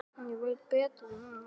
Ég veit betur núna.